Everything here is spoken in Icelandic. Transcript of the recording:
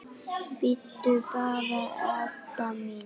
Bíddu bara, Edda mín.